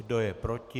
Kdo je proti?